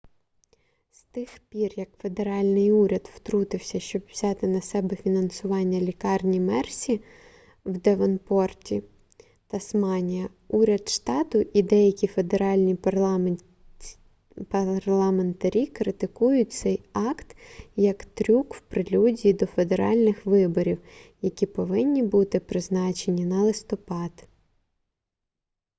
з тих пір як федеральний уряд втрутився щоб взяти на себе фінансування лікарні мерсі в девонпорті тасманія уряд штату і деякі федеральні парламентарі критикують цей акт як трюк в прелюдії до федеральних виборів які повинні бути призначені на листопад